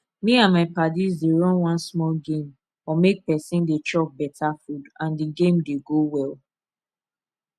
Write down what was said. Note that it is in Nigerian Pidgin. me and my padis dey run one small game on make person dey chop better food and e dey go well